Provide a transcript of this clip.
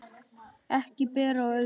Ekki ber á öðru